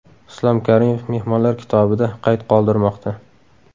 Islom Karimov mehmonlar kitobida qayd qoldirmoqda.